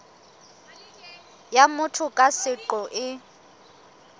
ya motho ka seqo e